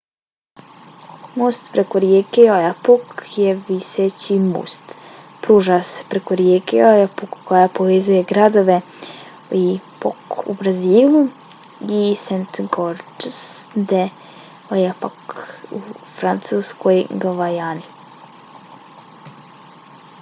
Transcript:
most preko rijeke oyapock je viseći most. pruža se preko rijeke oyapock koja povezuje gradove oiapoque u brazilu i saint-georges de l'oyjapock u francuskoj gvajani